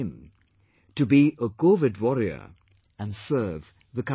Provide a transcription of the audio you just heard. in to be a Covid warrior and serve the country